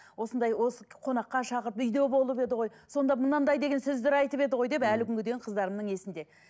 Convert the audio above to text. осындай қонаққа шақырдық үйде болып еді ғой сонда мынандай деген сөздер айтып еді ғой деп әлі күнге дейін қыздарымның есінде